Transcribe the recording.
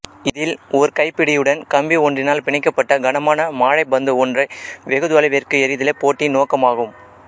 இதில் ஓர் கைப்பிடியடன் கம்பி ஒன்றினால் பிணைக்கப்பட்ட கனமான மாழைப் பந்து ஒன்றை வெகு தொலைவிற்கு எறிதலே போட்டியின் நோக்கமாகும்